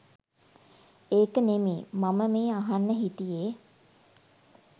ඒක නෙමේ මම මේ අහන්න හිටියේ